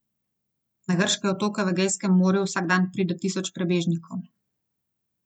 Na grške otoke v Egejskem morju vsak dan pride tisoč prebežnikov.